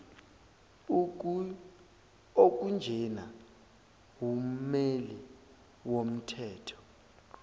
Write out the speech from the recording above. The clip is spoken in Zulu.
okunjena wummeli womthetho